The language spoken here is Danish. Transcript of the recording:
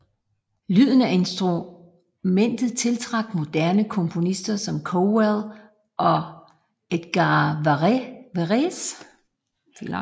Lyden af instrumentet tiltrak moderne komponister som Cowell og Edgard Varèse